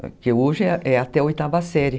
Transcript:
Porque hoje é até a oitava série.